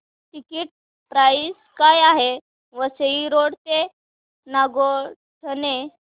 ticket price काय आहे Vasai road ते नागोठणे